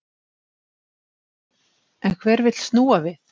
En hver vill snúa við?